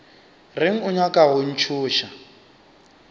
reng o nyaka go ntšhoša